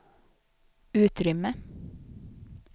utrymme